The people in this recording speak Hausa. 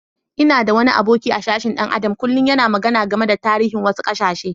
N'na da wani aboki a'sashen dan Adam kullum yana magana game da tarihin wasu kasashe.